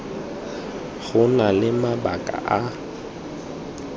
go na le mabaka a